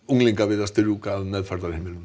unglinga við að strjúka af meðferðarheimilum